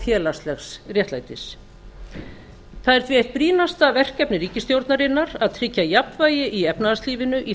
félagslegs réttlætis það er því eitt brýnasta verkefni ríkisstjórnarinnar að tryggja jafnvægi í efnahagslífinu í